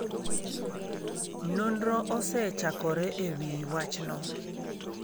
Nonro osechakore e wi wachno.